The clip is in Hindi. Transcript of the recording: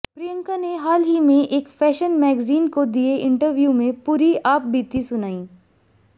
प्रियंका ने हाल ही में एक फैशन मैगजीन को दिए इंटरव्यू में पूरी आपबीती सुनाई